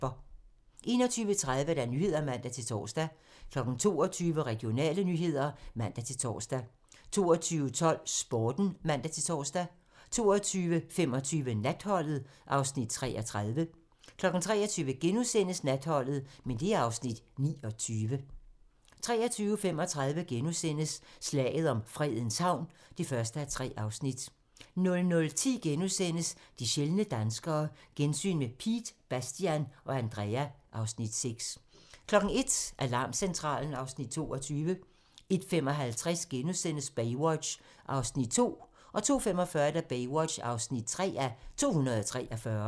21:30: Nyhederne (man-tor) 22:00: Regionale nyheder (man-tor) 22:12: Sporten (man-tor) 22:25: Natholdet (Afs. 33) 23:00: Natholdet (Afs. 29)* 23:35: Slaget om Fredens Havn (1:3)* 00:10: De sjældne danskere - gensyn med Piet, Bastian og Andrea (Afs. 6)* 01:00: Alarmcentralen (Afs. 22) 01:55: Baywatch (2:243)* 02:45: Baywatch (3:243)